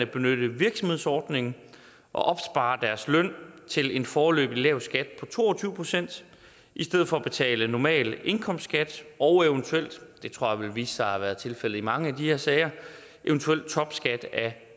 benytte virksomhedsordningen og opspare deres løn til en foreløbig lav skat på to og tyve procent i stedet for at betale normal indkomstskat og eventuelt det tror jeg vil vise sig at have været tilfældet i mange af de her sager topskat